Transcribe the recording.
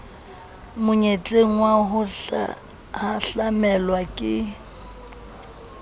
monyetleng wa ho hahlamelwa ke